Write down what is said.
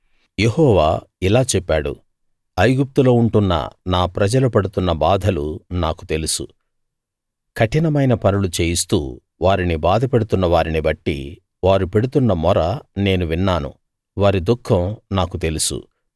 యెహోవా ఇలా చెప్పాడు ఐగుప్తులో ఉంటున్న నా ప్రజలు పడుతున్న బాధలు నాకు తెలుసు కఠినమైన పనులు చేయిస్తూ వారిని బాధపెడుతున్న వారిని బట్టి వారు పెడుతున్న మొర నేను విన్నాను వారి దుఃఖం నాకు తెలుసు